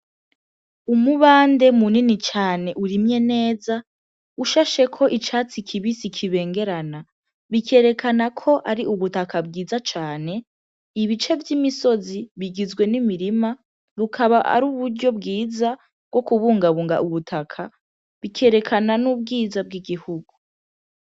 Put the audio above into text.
Umubande mu nini cane urimye neza ushashe ko icatsi kibisi kibengerana bikerekana ko ari ubutaka bwiza cane ibice vy'imisozi bigizwe n'imirima rukaba ari uburyo bwiza bwo kubungabunga ubutaka bikerekana n'ubwiza bw'igika kugo.